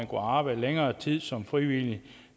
kunne arbejde længere tid som frivillige